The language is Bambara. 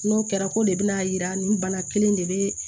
N'o kɛra ko de bina yira nin bana kelen de be